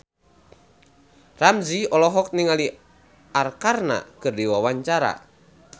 Ramzy olohok ningali Arkarna keur diwawancara